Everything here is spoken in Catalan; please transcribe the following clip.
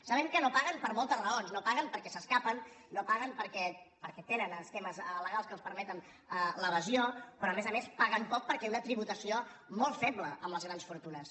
sabem que no paguen per moltes raons no paguen perquè s’escapen no paguen perquè tenen temes legals que els permeten l’evasió però a més a més paguen poc perquè hi ha una tributació molt feble amb les grans fortunes